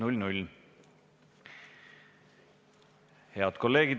Head kolleegid!